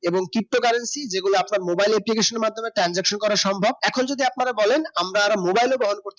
এবং ptocurrency যেগুলা আপনার mobile application মাধ্যমে transaction করা সম্ভব এখন যদি আপনারা বলেন আমরা mobile এর বহন করতে